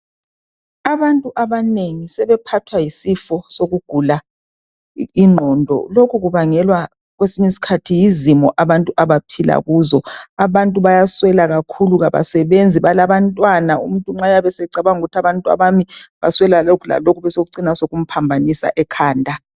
Abantu abanengi sebephathwa yisifo sokugula ingqondo lokhu kubangelwa kwesinye isikhathi yizimo abantu abaphila kuzo abantu bayaswela kakhulu abasebenzi balabantwana, umuntu nxa eyabe secabanga ukuthi abantwana bami baswela lokhu lalokho besokucina sokumphambanisa ekhanda.